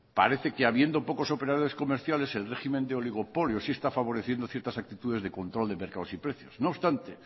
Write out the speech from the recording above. parece que habiendo pocos operadores comerciales el régimen de oligopolio sí está favoreciendo ciertas actitudes de control de mercados y precios no obstante